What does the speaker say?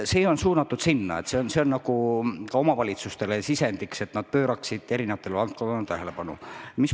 See on suunatud sellele, et ka omavalitsustel oleks mingi sisend, kuidas pöörata eri valdkondadele tähelepanu.